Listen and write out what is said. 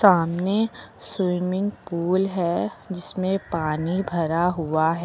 सामने swimming pool है जिसमें पानी भरा हुआ है।